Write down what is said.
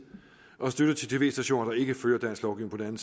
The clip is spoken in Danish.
støtte til tv stationer der ikke følger dansk lovgivning